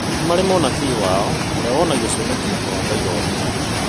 Nĩ marĩ mũnabii wao urĩa wonaga cioneki na kũrota iroto